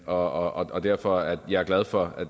og derfor er jeg glad for